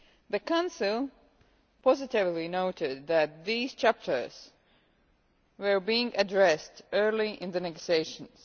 The Council positively noted that these chapters were being addressed early in the negotiations.